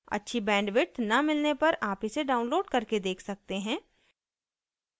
अच्छी bandwidth न मिलने पर आप इसे download करके देख सकते हैं